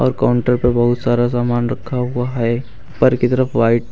और काउंटर पे बहुत सारा सामान रखा हुआ है ऊपर की तरफ वाइट--